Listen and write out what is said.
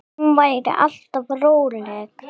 Hún var alltaf róleg.